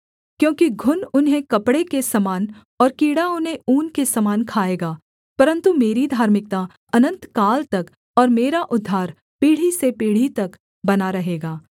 क्योंकि घुन उन्हें कपड़े के समान और कीड़ा उन्हें ऊन के समान खाएगा परन्तु मेरी धार्मिकता अनन्तकाल तक और मेरा उद्धार पीढ़ी से पीढ़ी तक बना रहेगा